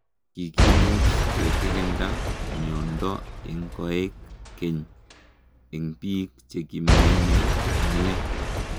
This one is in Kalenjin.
Kikimuuch kekirindaa miondoo eng koek keny eng piik chekimenyee komie